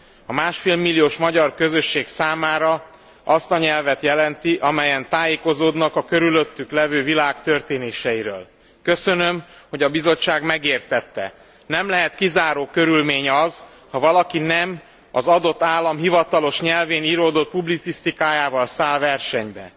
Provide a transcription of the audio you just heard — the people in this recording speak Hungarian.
A másfél milliós magyar közösség számára azt a nyelvet jelenti, amelyen tájékozódnak a körülöttük lévő világ történéseiről. Köszönöm, hogy a Bizottság megértette, hogy nem lehet kizáró körülmény az, ha valaki nem az adott állam hivatalos nyelvén íródott publicisztikájával száll versenybe.